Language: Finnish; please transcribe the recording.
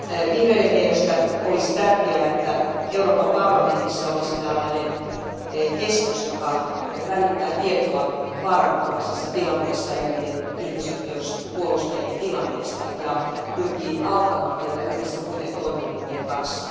Vihreiden mielestä olisi tärkeää, että Euroopan parlamentissa olisi tällainen keskus, joka välittää tietoa vaaranalaisessa tilanteessa elävien ihmisoikeuspuolustajien tilanteesta ja pyrkii auttamaan heitä yhdessä muiden toimielinten kanssa.